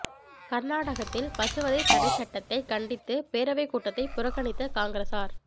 கா்நாடகத்தில் பசுவதை தடைச் சட்டத்தை கண்டித்து பேரவைக் கூட்டத்தை புறக்கணித்த காங்கிரஸாா்